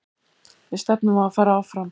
Við stefnum á að fara áfram.